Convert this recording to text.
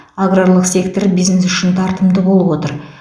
аграрлық сектор бизнес үшін тартымды болып отыр